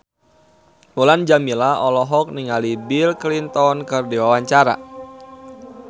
Mulan Jameela olohok ningali Bill Clinton keur diwawancara